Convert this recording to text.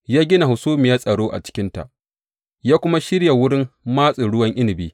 Ya gina hasumiyar tsaro a cikinta ya kuma shirya wurin matsin ruwan inabi.